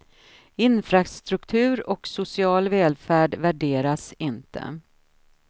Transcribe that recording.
Infrastruktur och social välfärd värderas inte.